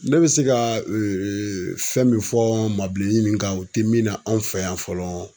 Ne bɛ se ka fɛn min fɔ maabilenin nin kan u tɛ mina anw fɛ yan fɔlɔ